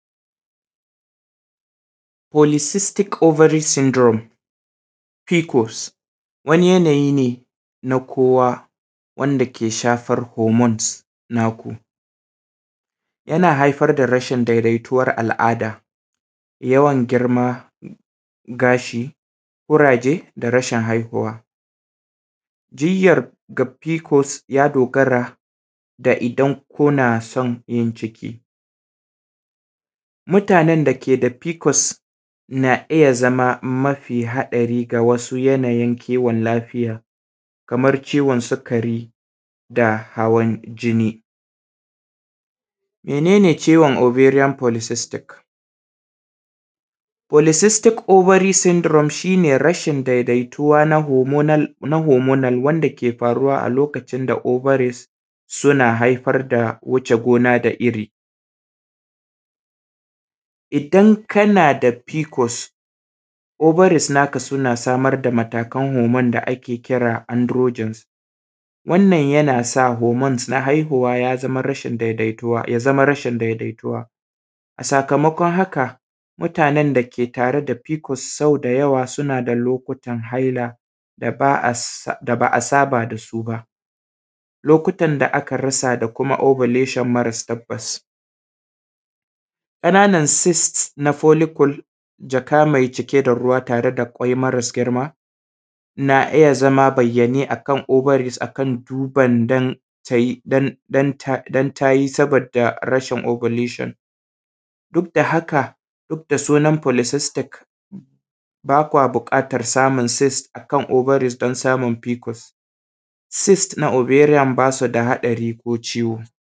Polycystic Ovary Syndrome pcos wani yanayi ne na kowa dake yake shafan hormones namu, yana haifar da rashin dai daituwan al’ada, yawan girman gashi, kuraje da rashin haihuwa, diyyar ga pcos ya dogara da idan kana son yin ciki mutanen da ke da pcos na iya zama mafi haɗari ga wasu yanayin kiwon lafiya, kaman ciwon sikari da hawan jini. Mene ne ciwon ovarian Polycystic? Polycystic Ovary Syndrome shi ne rashin daidaituwa na hormonal wanda ke faruwa a lokacin da ovaries suna wuce haifar da hona da iri, idan kana da pcos ovaries naka suna samar da matakan hormones da ake kira androgens. Yana sa hormone na haihuwa ya zama rashin daidaituwa sakamakon haka mutanen da ke da pcos suna tare da fama da pcos suna da lokutan haila da baa saba dasu ba lokutan da aka rasa da kuma ovolution marasa tabbas kananan seat na policle tare da jaka me cike da ruwa tare da kwai maras girma na iya zama bayyane akan ovaries akan tuban dan ta yi sabida rashin ovolution duk da haka duk da sunan polycystic bakwa buƙatan samun seat akan ovaries na samun pcos seat na ovarian basu da hadari ko ciwo. Hana kamuwa da cutan ƙanjawai yanada mahinmanci kuma akwai hanyoyi da yawa masu sirri dun rage haɗarin watsasu ga wasu hanyoyi daga cikin na ɗaya ayyukan jima’i ayi anfani da ruba yin anfani da kururun ruba yana daidai kuma akai akai yana rage yawan kamuwa da cutan na biyu anfani da man shafawa yi anfani da man shafawa na ruwa ko slim domin karyewan kururun ruba na uku aguju jimai mara karewa a kwai kuma yanya ta shan magani da ake anfani da ita wanda ake kiranta a Turance maganine wanda zi iya taimaka yana hana kamuwa da cutan hiv bayan akwai kuma yanda zaanimi likita a cikin gaggawa sabo da idan anfaɗa cikin hatsari kamuwa dashi akwai kuma shirye shiryen tamusanaman ta allura akanyi anfani da allurai da dama domin alluran dabaza suyi dashiba da kuma sirinjin don rage haɗarin kamuwa da cutan wato a rage amfani da abubuwa kaman su allurai idan za a yi amfani da shi sai dai aba sabon tasa.